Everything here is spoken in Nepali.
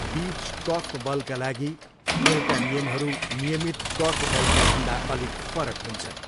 बिच कोर्फबलका लागि, खेलका नियमहरू नियमित कोर्फबलका भन्दा अलिक फरक हुन्छन्।